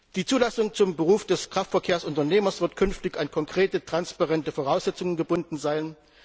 Die Zulassung zum Beruf des Kraftverkehrsunternehmers wird künftig an konkrete transparente Voraussetzungen gebunden sein.